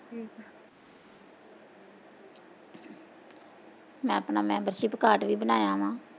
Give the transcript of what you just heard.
ਮੈਂ ਆਪਣਾ membership card ਵੀ ਬਨਾਇਆ ਵਾ